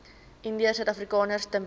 indiërsuidafrikaners ten beste